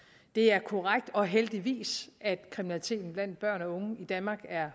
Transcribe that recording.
det er korrekt og heldigvis at kriminaliteten blandt børn og unge i danmark er